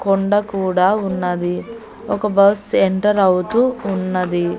కొండ కూడా ఉన్నది ఒక బస్ ఎంటర్ అవుతూ ఉన్నది.